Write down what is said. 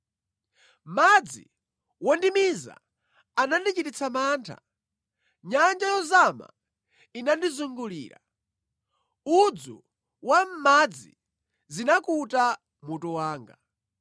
Madzi wondimiza anandichititsa mantha, nyanja yozama inandizungulira; udzu wa mʼmadzi zinakuta mutu wanga.